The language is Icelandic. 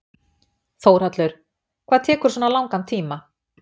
Þórhallur: Hvað tekur svona langan tíma?